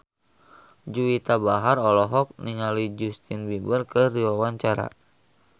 Juwita Bahar olohok ningali Justin Beiber keur diwawancara